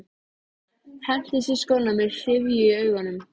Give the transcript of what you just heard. Hendist í skóna með syfju í augunum.